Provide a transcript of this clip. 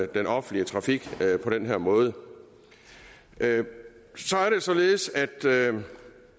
den offentlige trafik på den her måde så er det således